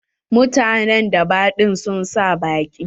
Mutanen daba ɗin sun sa baƙi.